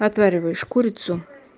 отвариваешь курицу